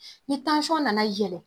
Ni nana yɛlɛ